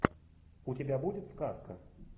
у тебя будет сказка